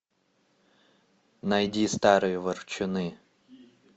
найди старые ворчуны